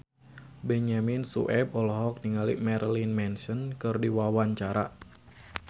Benyamin Sueb olohok ningali Marilyn Manson keur diwawancara